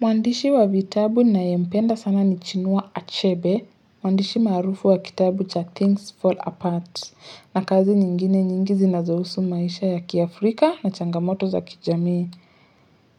Muandishi wa vitabu nayempenda sana ni chinua achebe, muandishi marufu wa kitabu cha Things Fall Apart, na kazi nyingine nyingi zinazohusu maisha ya kiafrika na changamoto za kijamii.